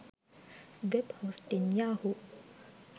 web hosting yahoo